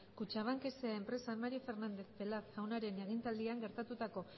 kutxabank sa enpresan mario fernández pelaz jaunaren agintaldian gertatutako